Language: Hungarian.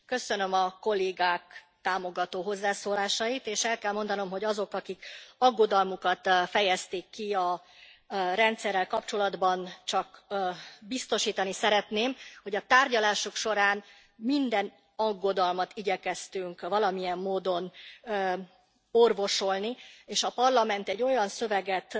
Köszönöm a kollégák támogató hozzászólásait, és el kell mondanom azoknak, akik aggodalmukat fejezték ki a rendszerrel kapcsolatban, hogy biztosítani szeretném őket arról, hogy a tárgyalások során minden aggodalmat igyekeztünk valamilyen módon orvosolni, és a Parlament olyan szöveget